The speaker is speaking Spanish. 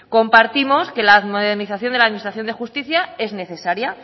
compartimos que la modernización de la administración de justicia es necesaria